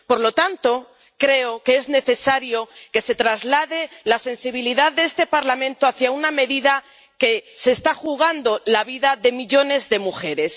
Por lo tanto, creo que es necesario que se traslade la sensibilidad de este Parlamento hacia una medida que está poniendo en peligro la vida de millones de mujeres.